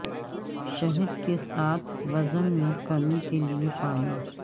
شہد کے ساتھ وزن میں کمی کے لئے پانی